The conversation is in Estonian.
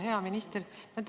Hea minister!